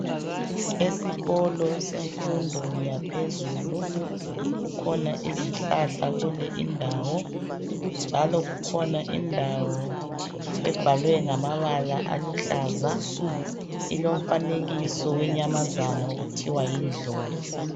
Esikolo semfundo yaphezulu kukhona izihlahla kule indawo njalo kukhona indawo ebhalwe ngamabala aluhlaza ,ilomfanekiso wenyamazana okuthiwa yindlovu.